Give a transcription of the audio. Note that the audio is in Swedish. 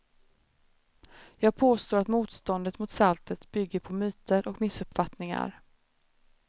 Jag påstår att motståndet mot saltet bygger på myter och missuppfattningar.